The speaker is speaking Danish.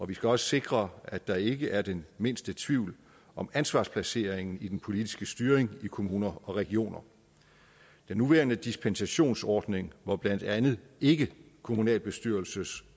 vi skal også sikre at der ikke er den mindste tvivl om ansvarsplaceringen i den politiske styring i kommuner og regioner den nuværende dispensationsordning hvor blandt andet ikkekommunalbestyrelses